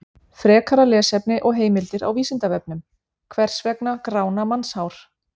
Frekara lesefni og heimildir á Vísindavefnum: Hvers vegna grána mannshár?